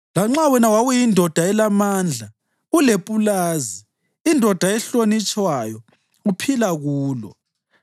lanxa wena wawuyindoda elamandla, ulepulazi, indoda ehlonitshwayo, uphila kulo.